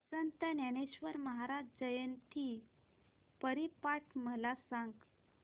संत ज्ञानेश्वर महाराज जयंती हरिपाठ मला सांग